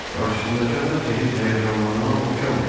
Qarşısındakı adam isə heç həyəcanlanana oxşamırdı.